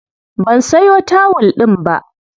Ban sayo tawul ɗin ba.